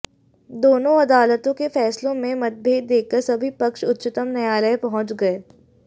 दोनों अदालतों के फैसलों में मतभेद देखकर सभी पक्ष उच्चतम न्यायालय पहुंच गए